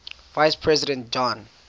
vice president john